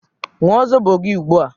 ṅụọ zobo gị ugbu a!